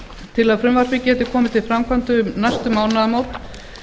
til að frumvarpið geti komið til framkvæmda um næstu mánaðamót